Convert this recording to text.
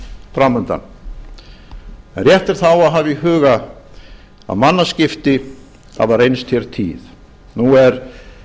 framundan en rétt er þá að hafa í huga að mannaskipti hafa reynst hér tíð nú er